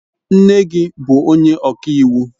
Nne gi bu onye ọka iwu?